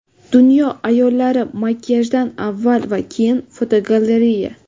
Dunyo ayollari makiyajdan avval va keyin (fotogalereya).